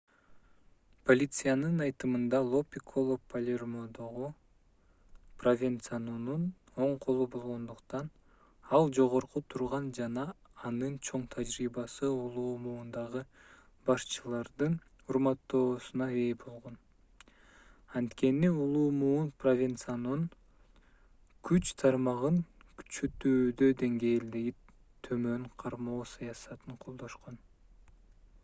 полициянын айтымында ло пикколо палермодогу провенцанонун оң колу болгондуктан ал жогору турган жана анын чоң тажрыйбасы улуу муундагы башчылардын урматтоосуна ээ болгон анткени улуу муун провенцанонун күч тармагын күчөтүүдө деңгээлди төмөн кармоо саясатын колдошкон